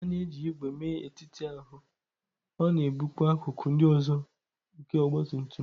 A na-eji ígwè mee etiti ahụ, ọ na-ebukwa akụkụ ndị ọzọ nke ọgbatumtum.